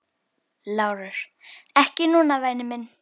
LÁRUS: Ekki núna, væni minn.